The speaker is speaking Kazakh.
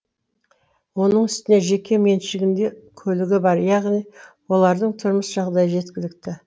оның үстіне жеке меншігінде көлігі бар яғни олардың тұрмыс жағдайы жеткілікті